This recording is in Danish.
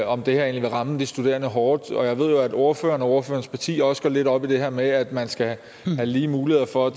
om det her vil ramme de studerende hårdt jeg ved jo at ordføreren og ordførerens parti også går lidt op i det her med at man skal have lige mulighed for at